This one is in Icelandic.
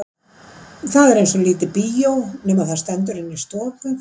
Það er eins og lítið bíó nema það stendur inni í stofu.